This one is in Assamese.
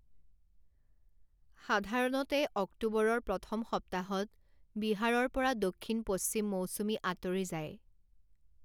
সাধাৰণতে অক্টোবৰৰ প্ৰথম সপ্তাহত বিহাৰৰ পৰা দক্ষিণ পশ্চিম মৌচুমী আঁতৰি যায়।